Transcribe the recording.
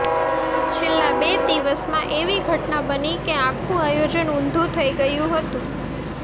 છેલ્લા બે દિવસમાં એવી ઘટના બની કે આખું આયોજન ઊંધુ થઈ ગયું હતું